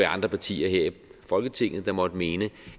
andre partier her i folketinget der måtte mene